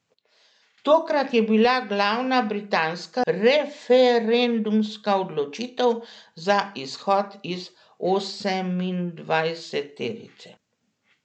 Tokrat je bila glavna britanska referendumska odločitev za izhod iz osemindvajseterice.